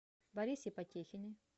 борисе потехине